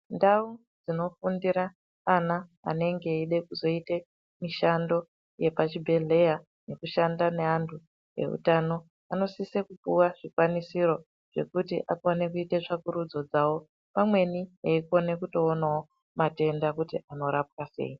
Ndau dzinofundira ana anenge eide kuzoite mishando yepachibhedhleya nekushanda neantu ehutano. Anosise kupuva zvikwanisiro zvekuri akone kuite tsvakurudzo dzavo. Pamweni eikona kutoonavo matenda kuti anorapwa sei.